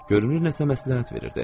Görünür nəsə məsləhət verirdi.